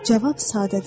Cavab sadədir.